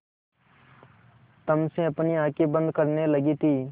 तम से अपनी आँखें बंद करने लगी थी